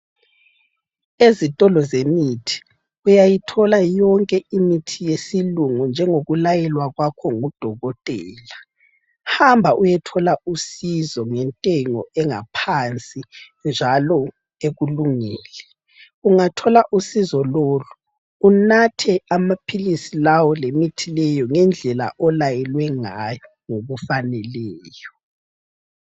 Ezitolo zemithi uyayithola yonke imithi yesilungu njengokulayelwa kwakho ngudokotela. Hamba uyethola usizo ngentengo engaphansi njalo ekulungele. Ungathola usizo lolu unathe amaphilisi lawo lemithi leyo ngendlela olayelwe ngayo ngokufaneleyo.